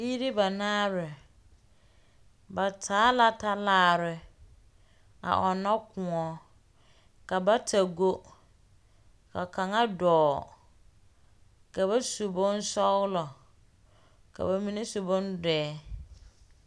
Biiri banaare, ba taa la talaare a ɔnnɔ kõɔ. Ka bata go, ka kaŋa dɔɔ. Ka ba su bonsɔɔlɔ, ka ba mine su bondoɛ.